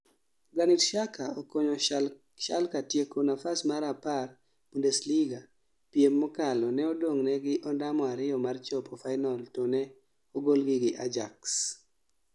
Granit Xhaka okonyo Schalke tieko nafas mar 10 Bundesliga piem mokalo ne odong' negi ondamo ariyo mar chopo Final to ne ogol gi gi Ajax